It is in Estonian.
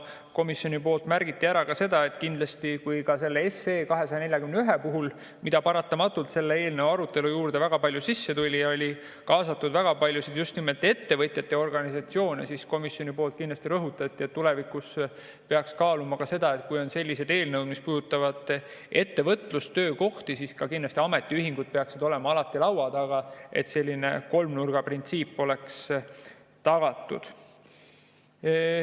Komisjoni poolt märgiti ära, et kui eelnõu 241 puhul, mis paratamatult selle eelnõu arutelusse väga palju sisse tuli, oli kaasatud väga paljusid just nimelt ettevõtjate organisatsioone, siis tulevikus peaks kaaluma, et kui on sellised eelnõud, mis puudutavad ettevõtlust, töökohti, siis kindlasti ametiühingud peaksid olema alati laua taga, et selline kolmnurgaprintsiip oleks tagatud.